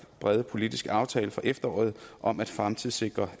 brede politiske aftale fra efteråret om at fremtidssikre